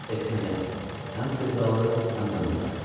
Esmeye, həm sevdalı, həm də murdar.